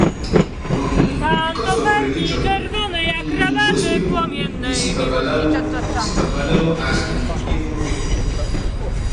um Because of religion, um most pipo dey see babalawo see babalawo as um evil pipo